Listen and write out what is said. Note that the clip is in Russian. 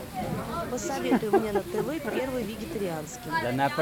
посоветуй мне на тв первый вегетарианский